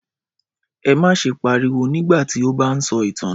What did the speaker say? Ẹ má ṣe pariwo nígbà tí ó bá ń sọ ìtàn náà!